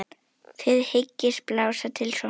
Þið hyggist blása til sóknar?